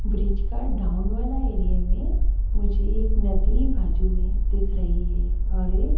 bridge का down वाला area में मुझे एक नदी बाजू में दिख रही है और--